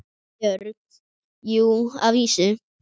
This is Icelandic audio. BJÖRN: Jú, að vísu.